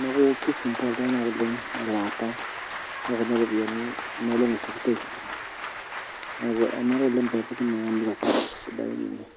neeku kisumbua iltung'anak oleng' elaata ekuna ripiyiani ena olong' ishukito neeku anyorr oleng' pee epuku naa shaida kumok.